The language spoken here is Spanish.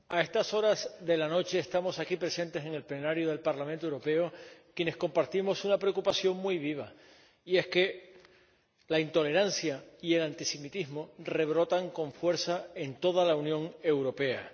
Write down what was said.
Señora Presidenta, a estas horas de la noche estamos aquí presentes en el Pleno del Parlamento Europeo quienes compartimos una preocupación muy viva. Y es que la intolerancia y el antisemitismo rebrotan con fuerza en toda la Unión Europea.